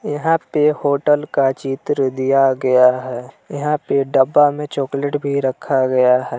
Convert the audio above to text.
यहां पे होटल का चित्र दिया गया है यहां पर डब्बा में चॉकलेट भी रखा गया है।